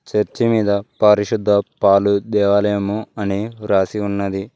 Church మీద పరిశుద్ధ పలుద్యాలయము అని రాసి ఉన్నది.